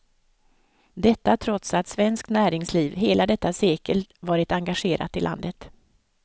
Detta trots att svenskt näringsliv hela detta sekel varit engagerat i landet.